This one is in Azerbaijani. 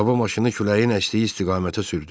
Baba maşını küləyin əsdiyi istiqamətə sürdü.